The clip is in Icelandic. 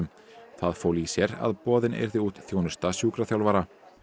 það fól í sér að boðin yrði út þjónusta sjúkraþjálfara